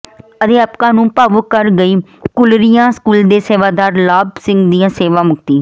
ਅਧਿਆਪਕਾਂ ਨੂੰ ਭਾਵੁਕ ਕਰ ਗਈ ਕੂਲਰੀਆਂ ਸਕੂਲ ਦੇ ਸੇਵਾਦਾਰ ਲਾਭ ਸਿੰਘ ਦੀ ਸੇਵਾ ਮੁਕਤੀ